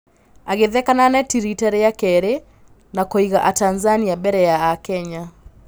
Agĩtheka na neti rita rĩa kerĩ na kũiga Atanzania mbere ya Akenya.